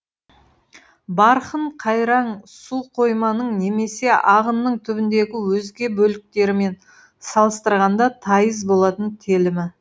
барқын қайраң суқойманың немесе ағынның түбіндегі өзге бөліктерімен салыстырғанда тайыз болатын телімі